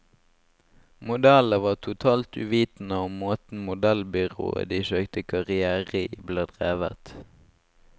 Modellene var totalt uvitende om måten modellbyrået de søkte karrière i, ble drevet.